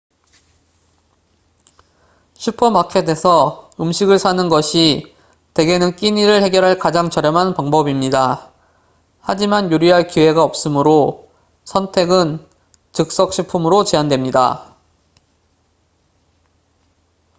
슈퍼마켓에서 음식을 사는 것이 대개는 끼니를 해결할 가장 저렴한 방법입니다 하지만 요리할 기회가 없으므로 선택은 즉석식품으로 제한됩니다